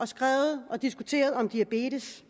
skrevet og diskuteret om diabetes